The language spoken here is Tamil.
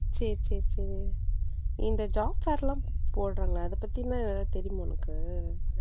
சரி சரி சரி இந்த job fair எல்லாம் போடுறாங்கள அத பத்தி என்ன தெரியுமா உனக்கு.